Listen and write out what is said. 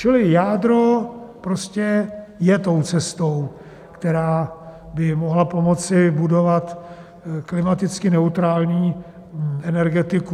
Čili jádro prostě je tou cestou, která by mohla pomoci budovat klimaticky neutrální energetiku.